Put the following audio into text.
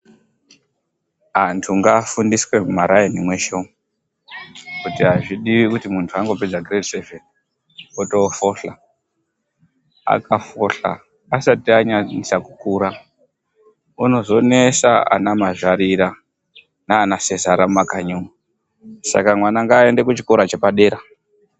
Anthu ngaafundiswe mumaraini mweshe umu kuti azvidiwi kuti munthu angopedzaa chikora cheadoko otoofohla. Akafohla asati anyanyisa kukura unozonesa ana mazvarira naana sezara mumakanyi umu. Saka mwana ngaaende kuchikora chepadera.